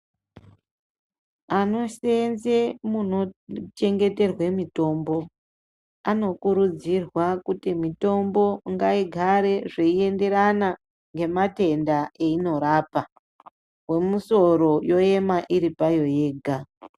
Anoseenze munochengeterwe mitombo anokurudzirwa kuti mitombo ngaigare zveienderana ngematenda einorapa wemusoro yoema iri payo yega.